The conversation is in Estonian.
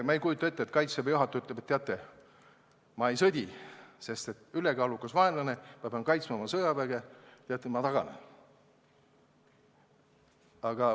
Ma ei kujuta ette, et Kaitseväe juhataja ütleb, et teate, ma ei sõdi, sest vaenlane on ülekaalukas, ma pean kaitsma oma sõjaväge, ma taganen.